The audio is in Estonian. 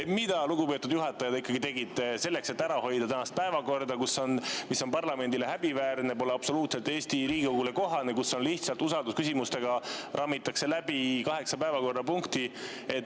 Mida, lugupeetud juhataja, te ikkagi tegite selleks, et ära hoida tänast päevakorda, mis on parlamendile häbiväärne, pole absoluutselt Eesti Riigikogule kohane, kus lihtsalt usaldusküsimustega rammitakse läbi kaheksa päevakorrapunkti?